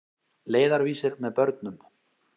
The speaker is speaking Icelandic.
Leiðarvísir með börnum.